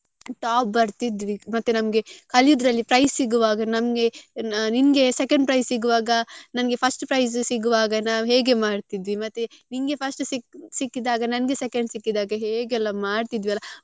Top ಬರ್ತಿದ್ವಿ ಮತ್ತೆ ನಮ್ಗೆ ಕಲಿಯುದ್ರಲ್ಲಿ prize ಸಿಗುವಾಗ ನಮ್ಗೆ ನಿನ್ಗೆ second prize ಸಿಗುವಾಗ ನಂಗೆ first prize ಸಿಗುವಾಗ ನಾವ್ ಹೇಗೆ ಮಾಡ್ತಿದ್ವಿ ಮತ್ತೆ ನಿನ್ಗೆ first ಸಿಕ್ಕಿ~ ಸಿಕ್ಕಿದಾಗ ನಂಗೆ second ಸಿಕ್ಕಿದಾಗ ಹೇಗೆಲ್ಲ ಮಾಡ್ತಿದ್ವಿ ಅಲ್ಲ.